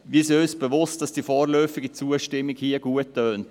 Wir sind uns bewusst, dass die vorläufige Zustimmung hier gut klingt.